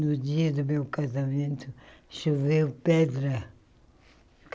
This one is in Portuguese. No dia do meu casamento, choveu pedra.